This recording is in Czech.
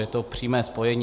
Je to přímé spojení.